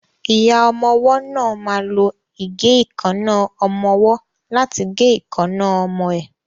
Ìyá ọmọwọ́ náà ma lo ìgéìkánná ọmọwọ́ láti gé ìkaná ọmọ ẹ.